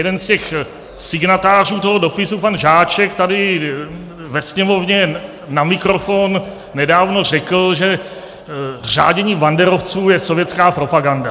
Jeden z těch signatářů toho dopisu, pan Žáček, tady ve Sněmovně na mikrofon nedávno řekl, že řádění banderovců je sovětská propaganda.